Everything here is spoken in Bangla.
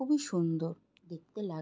খুবই সুন্দর দেখতে লাগ--